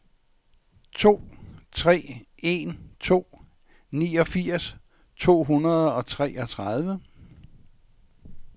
to tre en to niogfirs to hundrede og treogtredive